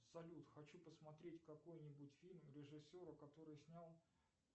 салют хочу посмотреть какой нибудь фильм режиссера который снял